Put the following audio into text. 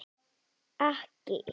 Íbúarnir fá ekki lögboðna þjónustu